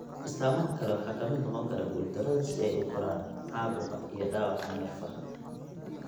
Astaamaha kale waxaa ka mid noqon kara guuldarada si ay u koraan, caabuqa, iyo dhaawaca neerfaha.